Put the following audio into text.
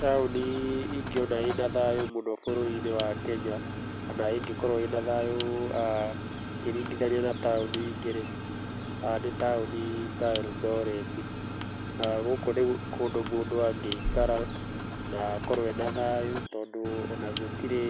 Taũni ingĩona ĩna thayũ mũno bũrũri-inĩ wa Kenya, kana ĩngĩkorwo ĩna thayũ ũkĩringithania na taũni ingĩ-rĩ, nĩ taũni ta Eldoreti. Na gũkũ nĩ kũndũ mũndũ angĩikara na akorwo ena thayũ, tondũ ona gũtirĩ,